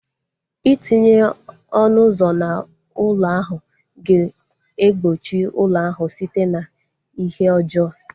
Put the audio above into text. Itinye ọnụ ụzọ na ụlọ ahu ga egbochi ụlọ ahu site na ihe ọjọọ